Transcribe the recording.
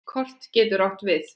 Kort getur átt við